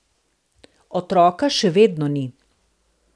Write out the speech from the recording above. Otroka še vedno ni.